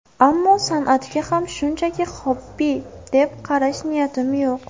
Ammo san’atga ham shunchaki xobbi deb qarash niyatim yo‘q.